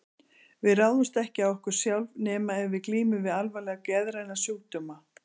Við ráðumst ekki á okkur sjálf, nema ef við glímum við alvarlega geðræna sjúkdóma.